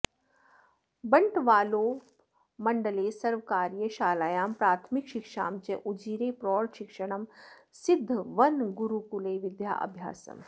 बण्टवाळोपमण्डले सर्वकारीयशालायाम् प्राथमिकशिक्षां च उजिरे प्रौढशिक्षणं सिद्धवनगुरुकुले विद्याभ्यासम्